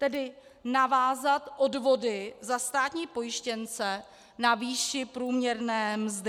Tedy navázat odvody za státní pojištěnce na výši průměrné mzdy.